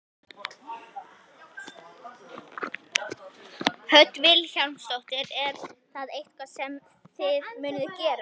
Hödd Vilhjálmsdóttir: Er það eitthvað sem að þið munuð gera?